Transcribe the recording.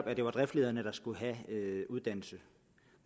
at det var driftslederne der skulle have uddannelse